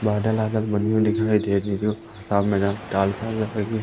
बादल वादल बढ़िया दिखाई दे रही है सामने न डाल साल रखेगी--